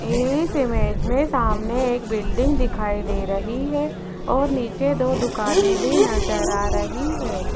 इस इमेज में सामने एक बिल्डिंग दिखाई दे रही है और नीचे दो दुकाने भी नजर आ रही है।